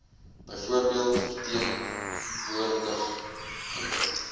byvoorbeeld verteen woordigende